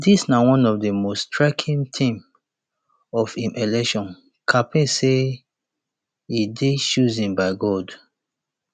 dis na one of di most striking themes of im election campaign say e dey chosen by god